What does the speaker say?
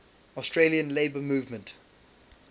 australian labour movement